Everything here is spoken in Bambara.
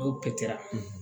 N'o pɛtɛra